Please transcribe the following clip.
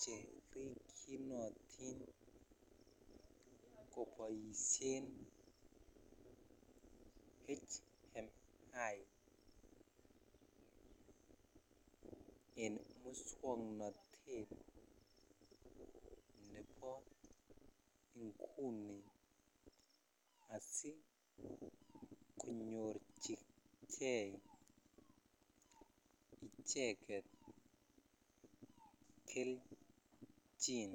cherikyinotin koboishen hmi en muswoknotet nebo inguni asikonyorchikei icheket kelchin.